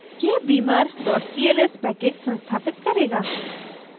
यह beamer cls package संस्थापित करेगा